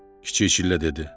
Kiçik çillə dedi.